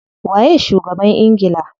Waye shugaban ingila?